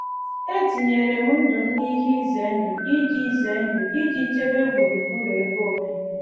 Etinyere m ndụ m n’ihe ize ndụ iji ize ndụ iji chebe gburugburu ebe obibi.